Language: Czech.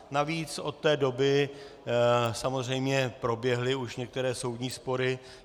Navíc od té doby samozřejmě proběhly už některé soudní spory.